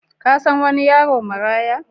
Ka san wani yaron maraya?